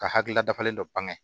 Ka hakilila dafalen dɔ ban